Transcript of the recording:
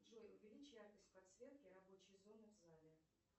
джой увеличь яркость подсветки рабочей зоны в зале